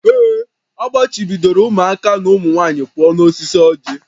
Ee, a gbachibidoro ụmụaka na ụmụ nwanyị pụọ n'osisi ọjị